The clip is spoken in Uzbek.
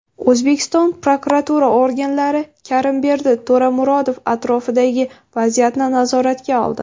O‘zbekiston prokuratura organlari Karimberdi To‘ramurod atrofidagi vaziyatni nazoratga oldi.